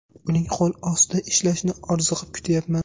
Uning qo‘l ostida ishlashni orziqib kutyapman.